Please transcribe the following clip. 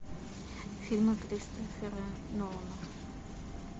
фильмы кристофера нолана